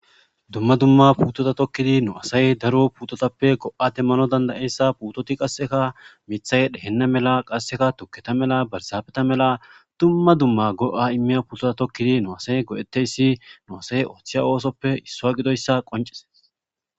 Dumma dumma puutota tokkidi nu asay daro putotappe go'ate mano dandayeyssa putoti qasseka mithay dhehenna mela qasseka tuketa mela barsafeta mela dumma dumma goa immiya putota tokkidi nu asay godeteyssi nu asay ooththiya oosoppe issoa gidoyssa qoncis